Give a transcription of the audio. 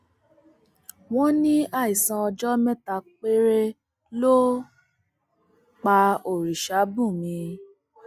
wọn ní àìsàn ọjọ mẹta péré ló pa orìṣàbùnmí